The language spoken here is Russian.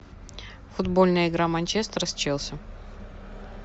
футбольная игра манчестер с челси